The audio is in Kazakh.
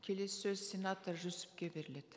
келесі сөз сенатор жүсіпке беріледі